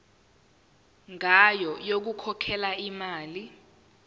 ngayo yokukhokhela imali